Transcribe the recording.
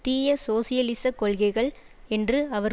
தீய சோசியலிசக் கொள்கைகள் என்று அவர்